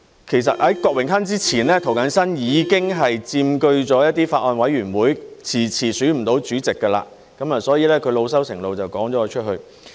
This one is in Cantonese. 其實在郭榮鏗之前，涂謹申已經佔據了一些法案委員會，遲遲選不到主席，所以他老羞成怒就趕了我出去。